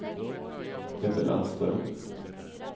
Ebbe Landström